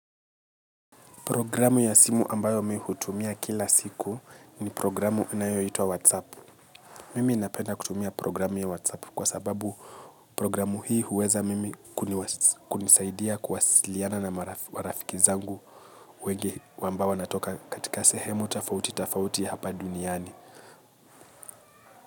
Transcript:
Programu ya simu ambayo mimi hutumia kila siku ni programu ya whatsApp. Mimi napenda kutumia programu ya WhatsApp kwa sababu programu hii huweza mimi kunisaidia kuwasiliana na marafiki zangu wenge ambao wanatoka katika sehemu, tofauti, tofauti hapa duniani.